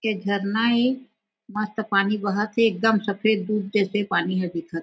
एक झरना हे मस्त पानी बहत थे एकदम सफ़ेद दूध जैसे पानी हा दिखत थे।